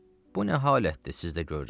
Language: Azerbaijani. Bu nə halətdir sizdə görürəm?